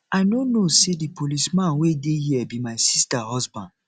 i no know say the policeman wey dey here be my sister husband